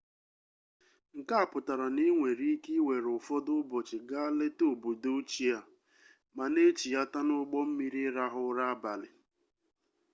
nke a pụtara na i nwere ike ịwere ụfọdụ ụbọchị gaa leta obodo ochie a ma na-echighata n'ụgbọ mmiri ịrahụ ụra abalị